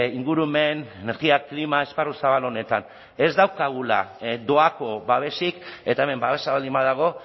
ingurumen energia klima esparru zabal honetan ez daukagula doako babesik eta hemen babesa baldin badago